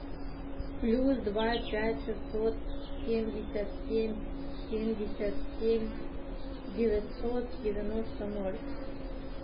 плюс два пять шестьсот семьдесят семь семьдесят семь девятьсот девяносто ноль